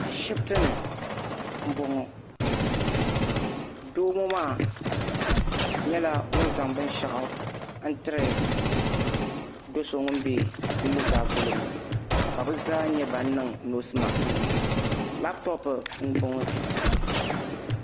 Ashibitini m-bɔŋɔ doo ŋɔ maa nyɛla ŋun zaŋ binshɛɣu n-tiri do so ŋun be nuu zaa polo ŋɔ ka bɛ zaa nyɛ ban niŋ noosi maskinima labtopu m-bɔŋɔ.